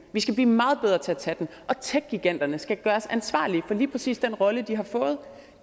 vi skal blive meget bedre til at tage den og techgiganterne skal gøres ansvarlige for lige præcis den rolle de har fået